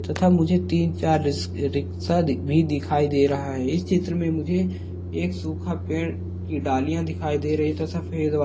तथा मुझे तीन चार रिस ऋ रीक्शा भी दिखाई दे रहा है इस चित्र मे मुजे एक सूखे पेड़ की डालिया दिखाई दे रही तथा फेस --